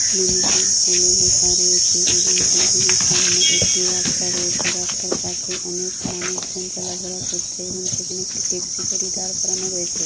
Limited বলে লেখা রয়েছে এবং বিল্ডিঙের সামনে একটি রাস্তা রয়েছে। রাস্তার পাশে অনেক মানুষজন চলাফেরা করছে এবং সেখানে একটি ট্যাক্সি দাঁড় করানো আছে ।